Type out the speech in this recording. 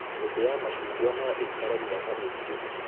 Mĩtĩ ya macungwa no ĩikare maka mĩingĩ